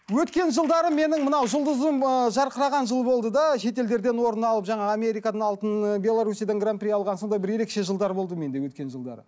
өткен жылдары менің мына жұлдызым ыыы жарқыраған жыл болды да шетелдерден орын алып жаңағы америкадан алтын ы беларусиядан гранпри алған сондай бір ерекше жылдар болды менде өткен жылдары